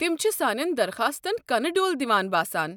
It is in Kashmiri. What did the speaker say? تم چھِ سانٮ۪ن درخاستن کنہٕ ڈول دوان باسان ۔